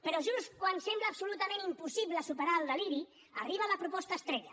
però just quan sembla absolutament impossible superar el deliri arriba la proposta estrella